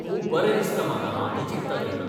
खूब बरें दिसता म्हाका हांव तें चिंत्ता तेन्ना.